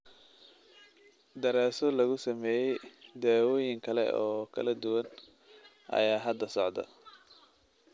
Daraasado lagu sameeyay daawooyin kale oo kala duwan ayaa hadda socda.